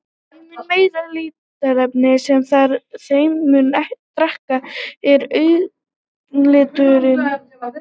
Þeim mun meira litarefni sem þar er, þeim mun dekkri er augnliturinn.